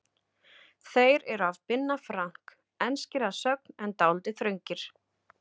Þeir eru af Binna Frank, enskir að sögn en dálítið þröngir.